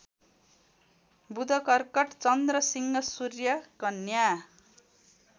बुधकर्कट चन्द्रसिंह सूर्यकन्या